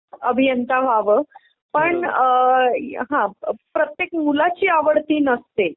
अभियंता व्हावं पण हा प्रत्येक मुलाची आवड ती नसतेय